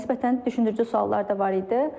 Nisbətən düşündürücü suallar da var idi.